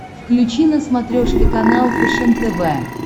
включи на смотрешке канал фэшен тв